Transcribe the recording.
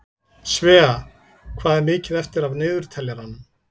Svea, hvað er mikið eftir af niðurteljaranum?